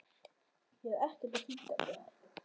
Ég er ekkert að flýta mér.